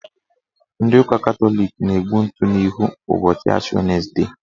Ndị ụka Katọlik na-egbu ntụ n'ihu ụbọchị Ashi wenesde.